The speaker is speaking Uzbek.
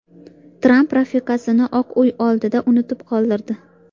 Tramp rafiqasini Oq Uy oldida unutib qoldirdi .